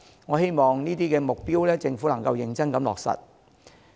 我希望政府能夠認真落實這些目標。